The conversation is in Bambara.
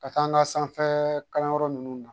Ka taa an ka sanfɛ kalanyɔrɔ ninnu na